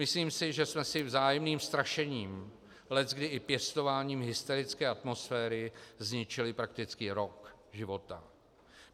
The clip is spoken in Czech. Myslím si, že jsme si vzájemným strašením, leckdy i pěstováním hysterické atmosféry zničili prakticky rok života.